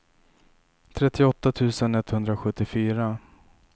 trettioåtta tusen etthundrasjuttiofyra